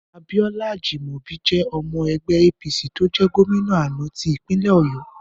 Abíọ́lá Ajímọ̀bi jẹ́ ọmọ ẹgbẹ́ APC tó jẹ́ gómìnà àná ti ìpínlẹ̀ Ọ̀yọ́.